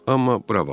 Amma bura bax.